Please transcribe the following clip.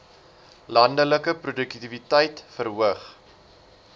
landelike produktiwiteit verhoog